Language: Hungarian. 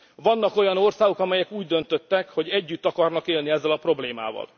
Vannak olyan országok, amelyek úgy döntöttek, hogy együtt akarnak élni ezzel a problémával.